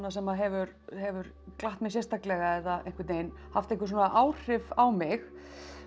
sem hefur hefur glatt mig sérstaklega eða haft einhver áhrif á mig